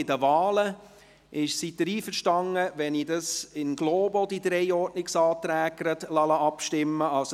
Sind Sie einverstanden, wenn ich über diese in globo abstimmen lasse?